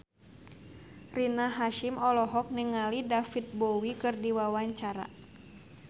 Rina Hasyim olohok ningali David Bowie keur diwawancara